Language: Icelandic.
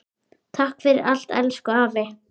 Takk fyrir allt, elsku afi.